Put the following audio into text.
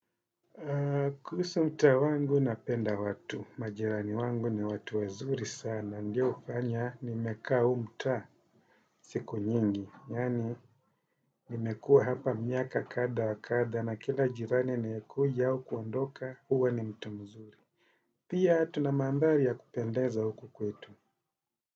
Kuhusu mtaa wangu napenda watu, majirani wangu ni watu wazuri sana, ndio hufanya nimekaa huu mtaa siku nyingi, yani nimekua hapa miaka kadha wa kadha na kila jirani anaekuja au kuandoka uwa ni mtu mzuri. Pia tuna mandhari ya kupendeza huku kwetu.